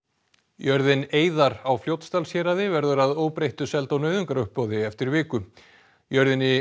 jörðin eiðar á Fljótsdalshéraði verður að óbreyttu seld á nauðungaruppboði eftir viku jörðinni